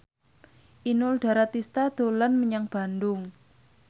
Inul Daratista dolan menyang Bandung